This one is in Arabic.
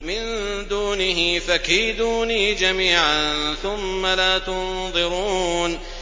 مِن دُونِهِ ۖ فَكِيدُونِي جَمِيعًا ثُمَّ لَا تُنظِرُونِ